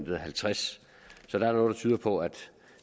på at